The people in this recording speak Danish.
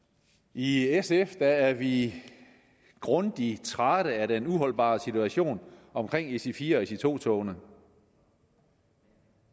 i sf er vi grundig trætte af den uholdbare situation omkring ic4 og ic2 togene